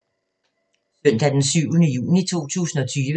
Søndag d. 7. juni 2020